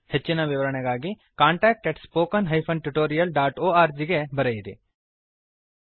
ಹೆಚ್ಚಿನ ವಿವರಣೆಗಾಗಿ contactspoken tutorialorg ಗೆ ಬರೆಯಿರಿ